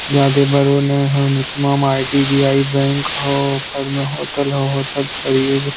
यहाँ देख मैं आई.डी.बी.आई. बैंक हउ ऊपर मैं होटल हउ होटल सही हउ |